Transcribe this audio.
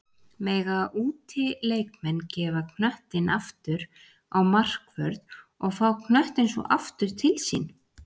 Mega útileikmenn gefa knöttinn aftur á markvörð og fá knöttinn svo aftur til sín?